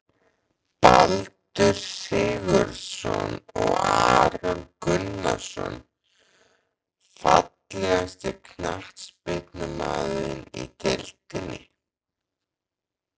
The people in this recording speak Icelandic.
Baldur Sigurðsson og Aron Gunnarsson Fallegasti knattspyrnumaðurinn í deildinni?